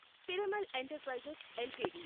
Piramal enterprises LTD